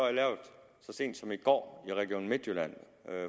sent som i går i region midtjylland